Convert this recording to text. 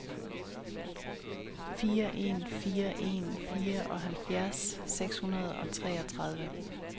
fire en fire en fireoghalvfjerds seks hundrede og treogtredive